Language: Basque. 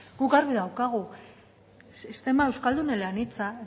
guk argi daukagu sistema euskaldun eleanitza